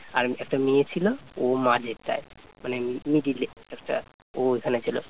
মানে middle এ একটা ও এখানে ছিল